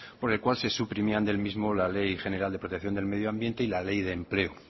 por el cual se suprimían del mismo la ley general de protección del medioambiente y la ley de empleo